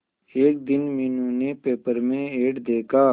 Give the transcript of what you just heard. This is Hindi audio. एक दिन मीनू ने पेपर में एड देखा